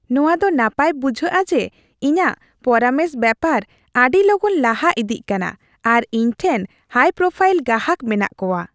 ᱱᱚᱶᱟ ᱫᱚ ᱱᱟᱯᱟᱭ ᱵᱩᱡᱷᱟᱹᱜᱼᱟ ᱡᱮ ᱤᱧᱟᱹᱜ ᱯᱚᱨᱟᱢᱚᱥ ᱵᱮᱯᱟᱨ ᱟᱹᱰᱤ ᱞᱚᱜᱚᱱ ᱞᱟᱦᱟ ᱤᱫᱤᱜ ᱠᱟᱱᱟ ᱟᱨ ᱤᱧ ᱴᱷᱮᱱ ᱦᱟᱭᱼᱯᱨᱳᱯᱷᱟᱭᱤᱞ ᱜᱟᱦᱟᱠ ᱢᱮᱱᱟᱜ ᱠᱚᱣᱟ ᱾